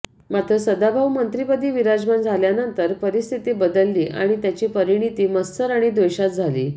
मात्र सदाभाऊ मंत्रीपदी विराजमान झाल्यानंतर परिस्थिती बदलली आणि त्याची परिणती मत्सर आणि द्वेषात झाली